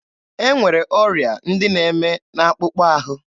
E nwere ọrịa ndị na-eme n'akpụkpọ ahụ.